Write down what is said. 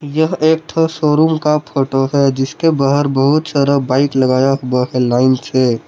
यह एक ठो शोरूम का फोटो है जिसके बाहर बहुत सारा बाइक लगाया हुआ है लाइन से।